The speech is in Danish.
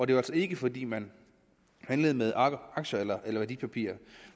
det var altså ikke fordi man handlede med aktier eller værdipapirer